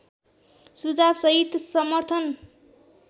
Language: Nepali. सुझावसहित समर्थन